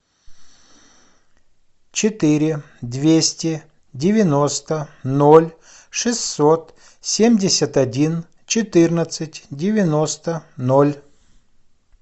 четыре двести девяносто ноль шестьсот семьдесят один четырнадцать девяносто ноль